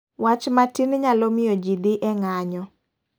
Wach matin nyalo miyo ji dhi e ng'anyo.